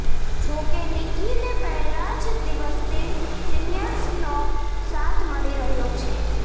જો કે નિકીને પહેલા જ દિવસથી સિનિયર્સનો સાથ મળી રહ્યો છે